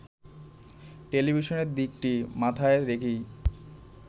টেলিভিশনের দিকটি মাথায় রেখেই